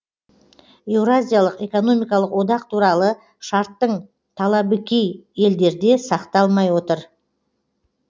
еуразиялық экономикалық одақ туралы шарттың талабы кей елдерде сақталмай отыр